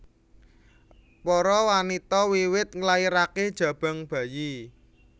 Para wanita wiwit nglairaké jabang bayi